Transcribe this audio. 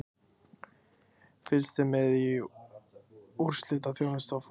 Fylgst er með í úrslitaþjónustu á forsíðu.